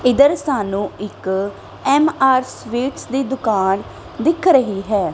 ਇੱਧਰ ਸਾਨੂੰ ਇੱਕ ਐਮ_ਆਰ ਸਵਿੱਚ ਦੀ ਦੁਕਾਨ ਦਿੱਖ ਰਹੀ ਹੈ।